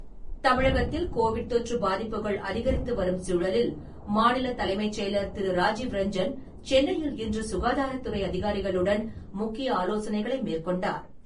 தமிழகத்தில் கோவிட் தொற்று பாதிப்புகள் அதிகரித்துவரும் சூழலில், மாநில தலைமைச் செயலர் திரு. ராஜீவ்ரஞ்சன், சென்னையில் இன்று சுகாதாரத்துறை அதிகாரிகளுடன் முக்கிய ஆலோசனைகளை மேற்கொண்டார்.